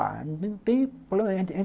Ah, não tem problema.